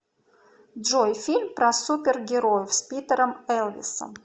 джой фильм про супер героев с питерем элвисом